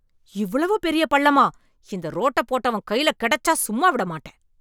இவ்வளவு பெரிய பள்ளமா! இந்த ரோட்டப் போட்டவன் கையில கெடச்சா சும்மா விடமாட்டேன்!